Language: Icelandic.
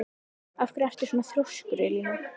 Af hverju ertu svona þrjóskur, Elíana?